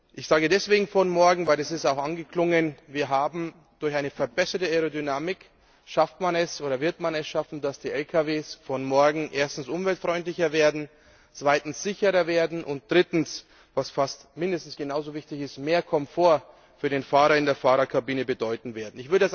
Ich sage von morgen, weil es ist auch angeklungen man es durch eine verbesserte Aerodynamik schaffen wird, dass die Lkws von morgen erstens umweltfreundlicher werden, zweitens sicherer werden und drittens was fast mindestens genau so wichtig ist mehr Komfort für den Fahrer in der Fahrerkabine bedeuten werden.